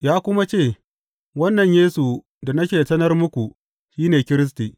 Ya kuma ce, Wannan Yesu da nake sanar muku shi ne Kiristi.